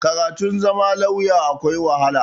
Karatun zama lauya akwai wahala.